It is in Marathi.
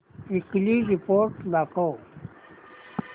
वीकली रिपोर्ट दाखव